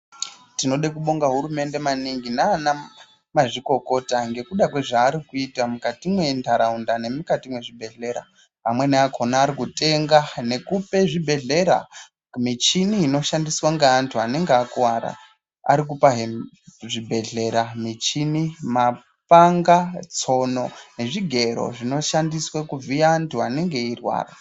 Tinoda kubobda hurumende kaningi nana mazvikokota ngekuda kwezvaari kuita mukati mentaraunda nemukati mezvibhedhlera amweni akona ari kutenga nekupe zvibhedhlera michini inoshandiswa ngeanthu anenge akuwara arikupahe zvibhedhlera michini, mapanga, tsono nezvigero zvinoshandiswa kuvhiya anthu anenge eirwara.